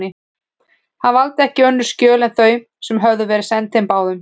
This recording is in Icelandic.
Hann valdi ekki önnur skjöl en þau, sem höfðu verið send þeim báðum.